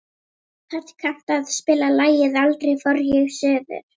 Hödd, kanntu að spila lagið „Aldrei fór ég suður“?